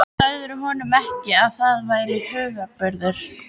Sagðirðu honum ekki, að það væri hugarburður?